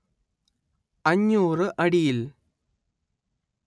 അഞ്ഞൂര്‍ അടിയിൽ